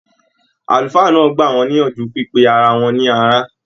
Àlùfáà náà gbà wọn níyànjú pipé ará wọn ní ará.